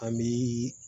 An bi